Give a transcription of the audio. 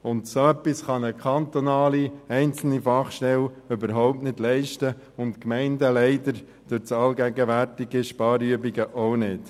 So etwas kann eine einzelne kantonale Fachstelle überhaupt nicht leisten, und die Gemeinden durch die allgegenwärtigen Sparübungen leider auch nicht.